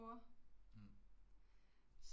Mh